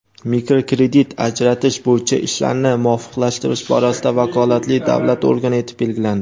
mikrokredit ajratish bo‘yicha ishlarni muvofiqlashtirish borasida vakolatli davlat organi etib belgilandi.